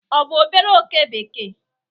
ọ bụ obere oke bekee?